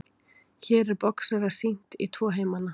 hér er boxara sýnt í tvo heimana